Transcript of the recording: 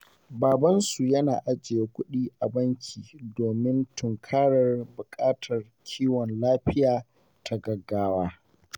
Babansu yana ajiye kudi a banki domin tunkarar buƙatar kiwon lafiya ta gaggawa.